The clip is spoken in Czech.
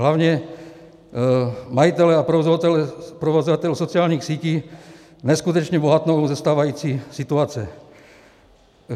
Hlavně majitelé a provozovatelé sociálních sítí neskutečně bohatnou ze stávající situace.